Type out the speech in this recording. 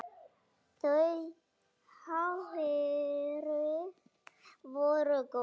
Þau áhrif voru góð.